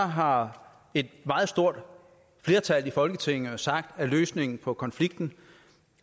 har et meget stort flertal i folketinget jo sagt at løsningen på konflikten